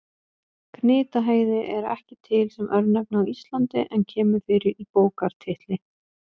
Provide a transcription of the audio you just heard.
Gnitaheiði er ekki til sem örnefni á Íslandi en kemur fyrir í bókartitli.